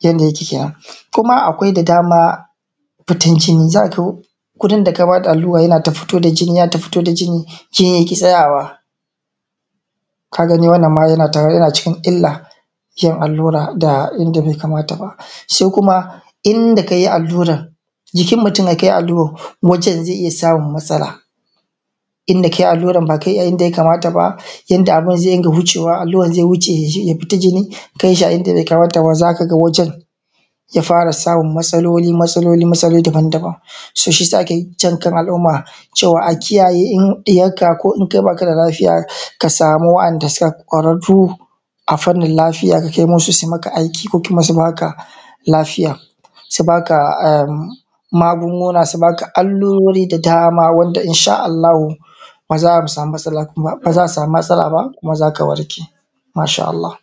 yanda yake kenan. Kuma akwai da dama fitan jini, za a to wurin da ka bada allura yana ta fito da jini, yana ta fito da jini, jinin yaƙi tsayawa. Kaga wannan ma yana cikin illa yin allura inda bai kamata ba. Sai kuma inda kai alluran jikin mutum, da kai alluran, waccan zai iya samun matsala inda kai alluran ba ka yi a inda ya kamata ba yanda abun zai rinƙa wucewa, alluran zai wuce ya tadda jini kanshi a inda bai kamata ba. Za ka ga wajen ya fara samun matsaloli, motsaloli, matsaloli daban daban. Shiyasa ake jankan al’umma cewa a kiyaye cewa in ɗiyarka ko kai ba ka da lafiya ka sami wanda suke ƙwararru a fannin ka kai masu su yi maka aiki ko kuma su baka magunguna su baka allurori. Da dama wanda in sha Allahu ba za a sami matsala ba kuma zaka warke. Masha Allah.